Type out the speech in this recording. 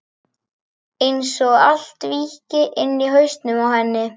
Einsog allt víkki inni í hausnum á henni.